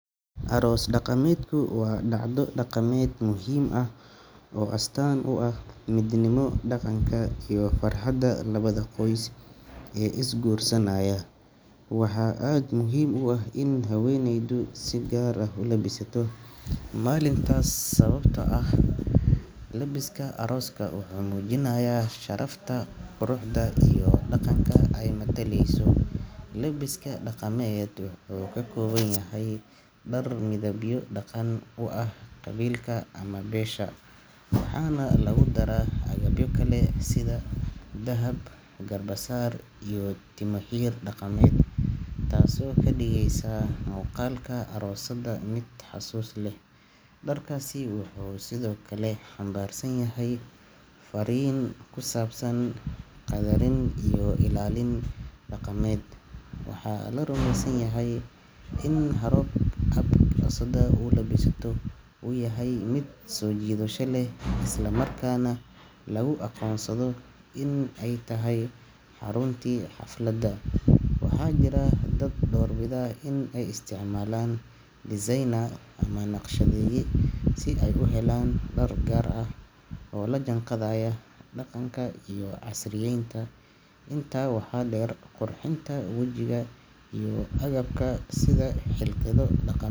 Aroos daqameedku waa dhacdo dhaqameed muhiim ah oo astaan u ah midnimo, dhaqanka, iyo farxadda labada qoys ee isguursanaya. Waxaa aad muhiim u ah in haweeneyda si gaar ah u labisato maalintaas, sababtoo ah labiska arooska wuxuu muujinayaa sharafta, quruxda, iyo dhaqanka ay mataleyso. Labiska dhaqameed wuxuu ka kooban yahay dhar midabyo dhaqan u ah qabiilka ama beesha, waxaana lagu daraa agabyo kale sida dahab, garbasaar, iyo timoxir dhaqameed, taasoo ka dhigaysa muuqaalka aroosadda mid xusuus leh. Dharkaasi wuxuu sidoo kale xambaarsan yahay fariin ku saabsan qadarin iyo ilaalin dhaqameed. Waxaa la rumeysan yahay in habka aroosadda u labisato uu yahay mid soo jiidasho leh, isla markaana lagu aqoonsado in ay tahay xaruntii xafladda. Waxaa jira dad doorbida in ay isticmaalaan designer ama naqshadeeye si ay u helaan dhar gaar ah oo la jaanqaadaya dhaqanka iyo casriyeynta. Intaa waxaa dheer, qurxinta wajiga iyo agabka sida hilqado dhaq.